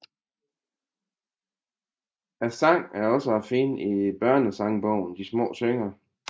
Sangen er også at finde i børnesangbogen De små synger